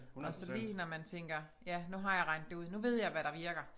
Og så lige når man tænker ja nu har jeg regnet det ud nu ved jeg hvad der virker